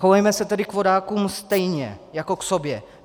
Chovejme se tedy k vodákům stejně jako k sobě.